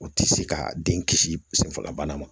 O tɛ se ka den kisi senfalabana ma